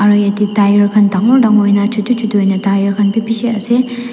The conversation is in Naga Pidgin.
aru yatae tyre khan dangor dangor hoina chutu chutu hoina tyre khan bi bishi ase.